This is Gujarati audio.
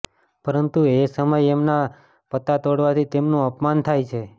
પરંતુ એ સમય એમના પતા તોડવાથી તેમનું અપમાન થાય છે